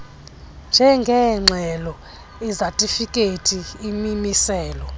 njengeengxelo izatifikhethi imimiselo